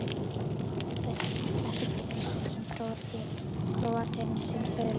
Þær elska klett og hvítan sand sem Króatinn sitt föðurland.